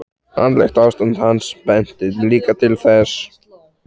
Andlegt ástand hans benti líka til þess.